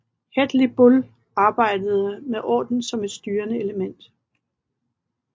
Hedley Bull arbejdede med orden som et styrende element